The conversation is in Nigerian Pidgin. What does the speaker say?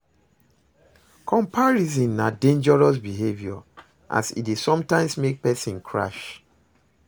Comparison na dangerious behavior as e dey sometimes make pesin crash.